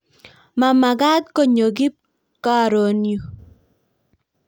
ma magaat konyo kip karoon yu